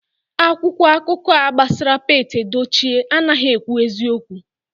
Akwụkwọ akụkọ a gbasara Pete Edochie anaghị ekwu eziokwu